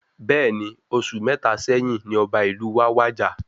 Bẹẹni, oṣù mẹta sẹ́yín ní ọba ìlú wa wàjà